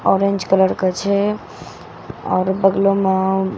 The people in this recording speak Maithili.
ऑरेंज कलर के छे। और बगलो मे --